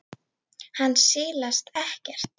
Hann silast ekkert.